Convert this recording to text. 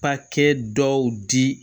Papiye dɔw di